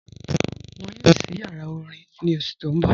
Wọn yóò sí yàrá orín ní ọṣù tí n bọ̀.